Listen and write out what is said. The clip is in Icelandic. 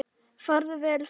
Farðu vel, frændi sæll.